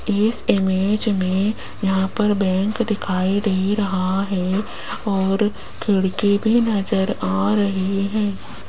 इस इमेज में यहां पर बैंक दिखाई दे रहा है और खिड़की भी नजर आ रही है।